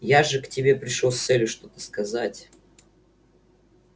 я же к тебе пришёл с целью что-то сказать